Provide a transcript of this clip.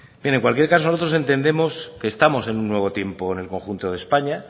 bien en cualquier caso nosotros entendemos que estamos en un nuevo tiempo en el conjunto de españa